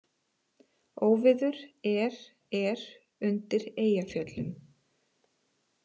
Óveður er er undir Eyjafjöllum